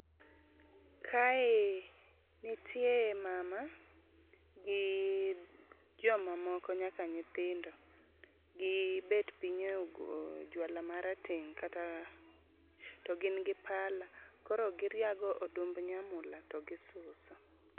kae nitie mama gi joma moko nyaka nyithindo, gibet piny a juala marateng' kata to gin gi pala koro giriago odumb nyamula to gisuso.